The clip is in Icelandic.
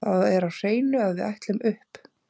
Það er á hreinu að við ætlum upp.